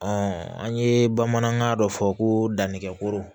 an ye bamanankan dɔ fɔ ko dannɛgɛkoro